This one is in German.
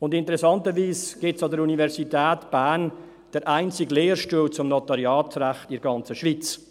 Und interessanterweise gibt es an der Universität Bern den einzigen Lehrstuhl zum Notariatsrecht in der ganzen Schweiz.